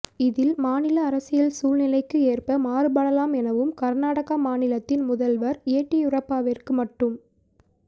இதில் மாநில அரசியல் சூழ்நிலைக்கு ஏற்ப மாறுபடலாம் எனவும் கர்நாடக மாநிலத்தில் முதல்வர் எடியூரப்பாவிற்கு மட்டும்